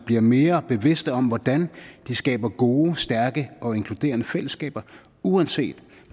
bliver mere bevidste om hvordan de skaber gode stærke og inkluderende fællesskaber uanset